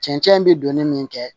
Cɛncɛn bi donni min kɛ